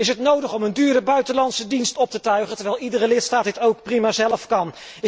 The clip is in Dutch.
Is het nodig om een dure buitenlandse dienst op te tuigen, terwijl iedere lidstaat dit ook prima zelf kan.